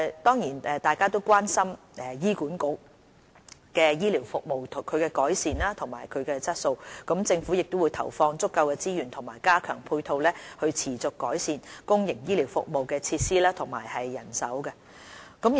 大家都關心醫院管理局的醫療服務和改善服務質素，政府會投放足夠的資源和加強配套，持續改善公營醫療服務的設施和人手。